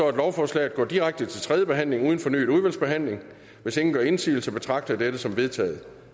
at lovforslaget går direkte til tredje behandling uden fornyet udvalgsbehandling hvis ingen gør indsigelse betragter jeg dette som vedtaget